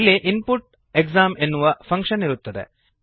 ಇಲ್ಲಿ input exam ಎನ್ನುವ function ಇರುತ್ತದೆ